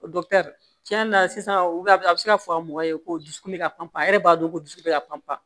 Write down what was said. O tiɲɛ yɛrɛ la sisan a bɛ se ka fɔ an mɔgɔ ye ko dusukun bɛ ka panpan a yɛrɛ b'a dɔn ko dusu bɛ ka pan pan